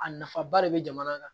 A nafaba de bɛ jamana kan